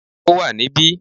Ó wà ní bí